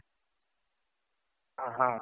ಹ ಹ